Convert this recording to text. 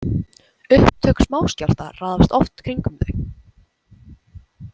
Upptök smáskjálfta raðast oft kringum þau.